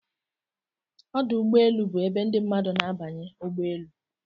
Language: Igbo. Ọdụ ụgbọelu bụ ebe ndị mmadụ na-abanye ụgbọ elu